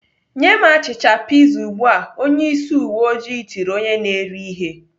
"Nye m achịcha piza ugbu a!" Onyeisi uweojii tiri onye na-ere ihe.